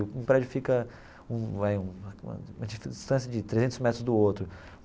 O prédio fica um vai um a uma distância de trezentos metros do outro.